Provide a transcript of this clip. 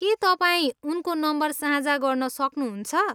के तपाईँ उनको नम्बर साझा गर्न सक्नुहुन्छ?